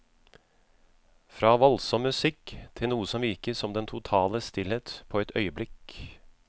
Fra voldsom musikk til noe som virker som den totale stillhet på et øyeblikk.